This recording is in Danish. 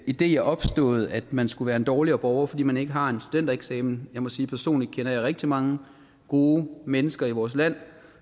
idé er opstået at man skulle være en dårligere borger fordi man ikke har en studentereksamen jeg må sige personligt kender rigtig mange gode mennesker i vores land